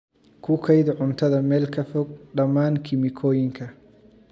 Ku kaydi cuntada meel ka fog dhammaan kiimikooyinka.